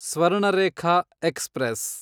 Swarnarekha express